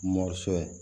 Mɔ sɔ